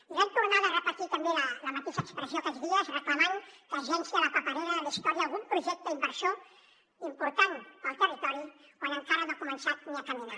i l’han tornada a repetir també la mateixa expressió aquests dies reclamant que es llenci a la paperera de la història algun projecte inversor important per al territori quan encara no ha començat ni a caminar